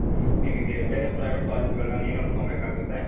ನಿನಿಗೇ ಬೇರೆ private ಕಾಲೇಜ್ಗಳನ್ನ ನೀನೇ ಹುಡುಕ್ಕೊಮ್ಬೇಕಾಗತ್ತೆ.